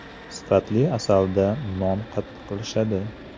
Sifatli asalda non qattiqlashadi.